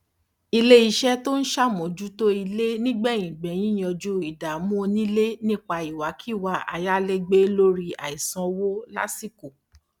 iléiṣẹ tó ń sàmójútó ilé nígbẹyìngbẹyín yanjú ìdàmú onílé nípa ìwàkíwà ayalegbe lórí àìsanwó lásìkò